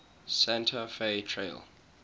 santa fe trail